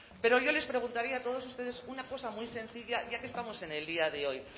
pero yo les preguntaría a todos ustedes una cosa muy sencilla ya que estamos en el día de hoy